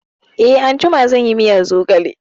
Eh, anjima zan yi miyar zogale